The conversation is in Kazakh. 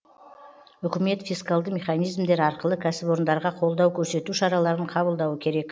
үкімет фискалды механизмдер арқылы кәсіпорындарға қолдау көрсету шараларын қабылдауы керек